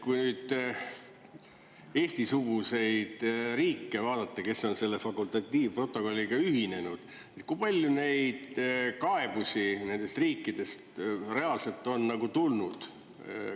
Kui nüüd Eesti-suguseid riike vaadata, kes on selle fakultatiivprotokolliga ühinenud, kui palju neid kaebusi nendest riikidest reaalselt on tulnud?